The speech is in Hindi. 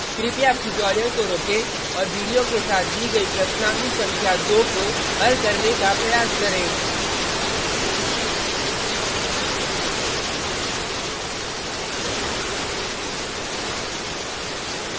कृपया अब ट्यूटोरियल को रोकें और वीडियो के साथ दी गयी प्रश्नावली संख्या 2 को हल करने का प्रयास करें